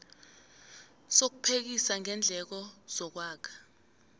sokuphekisa ngeendleko zokwakha